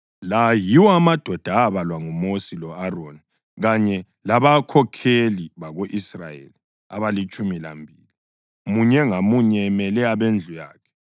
La yiwo amadoda abalwa nguMosi lo-Aroni kanye labakhokheli bako-Israyeli abalitshumi lambili, munye ngamunye emele abendlu yakhe.